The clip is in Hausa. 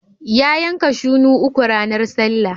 Ya yanka shunu uku ranar sallah.